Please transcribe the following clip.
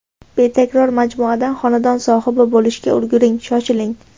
Betakror majmuadan xonadon sohibi bo‘lishga ulguring Shoshiling!